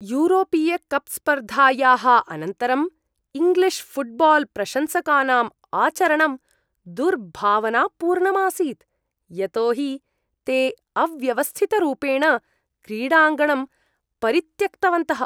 यूरोपीयकप् स्पर्धायाः अनन्तरम् English football प्रशंसकानाम् आचरणं दुर्भावनापूर्णम् आसीत्, यतो हि ते अव्यवस्थितरूपेण क्रीडाङ्गणं परित्यक्तवन्तः।